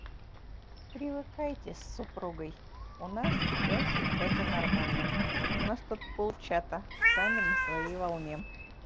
привыкайте с супругой у нас в чате это нормально у нас тут пол чата сами на своей волне